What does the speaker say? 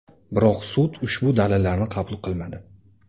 Biroq sud ushbu dalillarni qabul qilmadi.